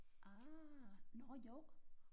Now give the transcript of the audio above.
Ah nårh jo